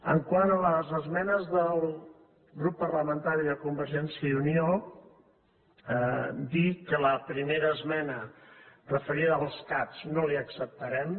quant a les esmenes del grup parlamentari de convergència i unió dir que la primera esmena referida als cat no la hi acceptarem